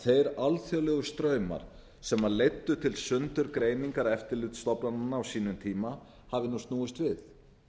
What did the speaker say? þeir alþjóðlegu straumar sem leiddu til sundurgreiningar eftirlitsstofnananna á sínum tíma hafi nú snúist við